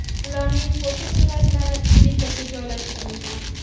Ularning fotosuratlari Twitter’ga joylashtirilgan.